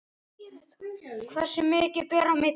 Hversu mikið ber á milli?